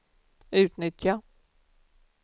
utnyttja